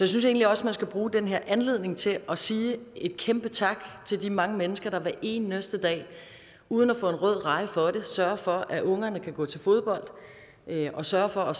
synes egentlig også man skal bruge den her anledning til at sige et kæmpe tak til de mange mennesker der hver eneste dag uden at få en rød reje for det sørger for at ungerne kan gå til fodbold og sørger for at